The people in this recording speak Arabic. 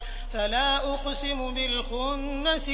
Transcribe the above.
فَلَا أُقْسِمُ بِالْخُنَّسِ